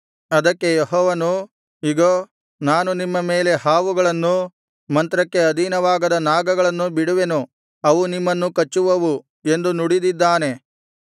ಅದಕ್ಕೆ ಯೆಹೋವನು ಇಗೋ ನಾನು ನಿಮ್ಮ ಮೇಲೆ ಹಾವುಗಳನ್ನು ಮಂತ್ರಕ್ಕೆ ಅಧೀನವಾಗದ ನಾಗಗಳನ್ನು ಬಿಡುವೆನು ಅವು ನಿಮ್ಮನ್ನು ಕಚ್ಚುವವು ಎಂದು ನುಡಿದಿದ್ದಾನೆ